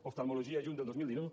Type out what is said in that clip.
oftalmologia juny del dos mil dinou